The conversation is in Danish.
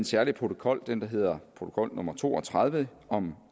særlig protokol den der hedder protokol nummer to og tredive om